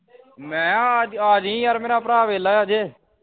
ਮੈਂ ਆ ਆ ਜੀ ਯਾਰ ਮੇਰਾ ਭਰਾ ਵੇਖਲਾ ਅਜੇ